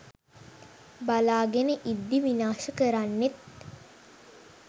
බලාගෙන ඉද්දි විනාශ කරන්නෙත්